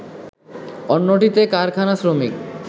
অন্যটিতে কারখানা শ্রমিক